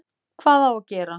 Hvað á gera?